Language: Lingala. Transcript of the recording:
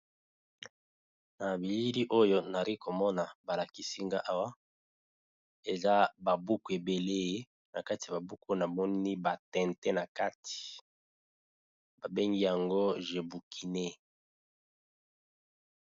Na bilili oyo nari komona balakisi nga awa eza babuku ebele, na kati ya babuku na moni batente na kati babengi yango jebukine.